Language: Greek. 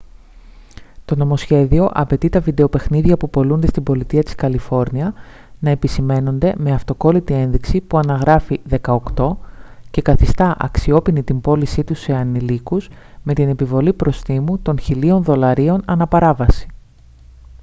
το νομοσχέδιο απαιτεί τα βιντεοπαιχνίδια που πωλούνται στην πολιτεία της καλιφόρνια να επισημαίνονται με αυτοκόλλητη ένδειξη που αναγράφει «18» και καθιστά αξιόποινη την πώλησή τους σε ανηλίκους με την επιβολή προστίμου των 1.000 δολαρίων ανά παράβαση